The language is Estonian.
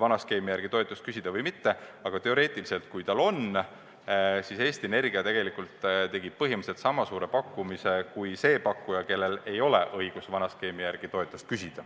vana skeemi järgi toetust küsida või mitte –, aga teoreetiliselt, kui tal see õigus on, siis Eesti Energia tegelikult tegi põhimõtteliselt sama suure pakkumise kui see pakkuja, kellel ei ole õigust vana skeemi järgi toetust küsida.